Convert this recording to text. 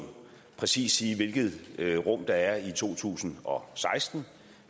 præcis sige hvilket rum der er i to tusind og seksten